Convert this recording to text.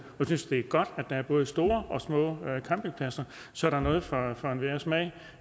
jeg synes det er godt at der er både store og små campingpladser så der er noget for enhver smag